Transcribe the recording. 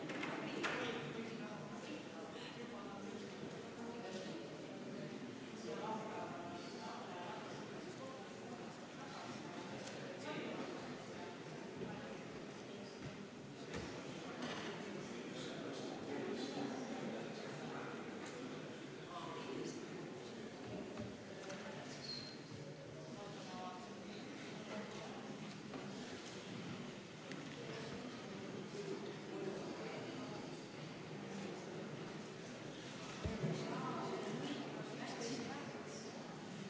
Panen hääletusele juhtivkomisjoni ettepaneku Eesti Vabaerakonna fraktsiooni algatatud kohaliku omavalitsuse üksuse finantsjuhtimise seaduse täiendamise seaduse eelnõu 592 esimesel lugemisel tagasi lükata.